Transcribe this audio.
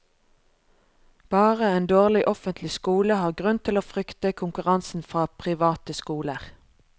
Bare en dårlig offentlig skole har grunn til å frykte konkurransen fra private skoler.